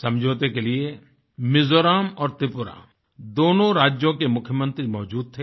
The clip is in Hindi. समझौते के लिए मिज़ोरम और त्रिपुरा दोनों राज्यों के मुख्यमंत्री मौज़ूद थे